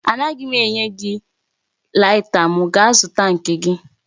Anaghị m enye gị laita m, gaa zụta nke gị